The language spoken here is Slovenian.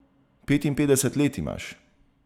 Petinpetdeset let imaš.